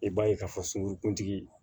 I b'a ye k'a fɔ sunkuru kuntigi